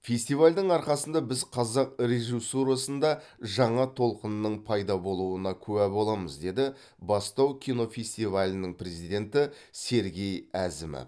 фестивальдің арқасында біз қазақ режиссурасында жаңа толқынның пайда болуына куә боламыз деді бастау кинофестивалінің президенті сергей әзімов